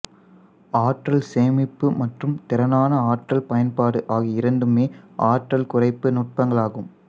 ஆற்றல் சேமிப்பு மற்றும் திறனான ஆற்றல் பயன்பாடு ஆகிய இரண்டுமே ஆற்றல் குறைப்பு நுட்பங்களாகும்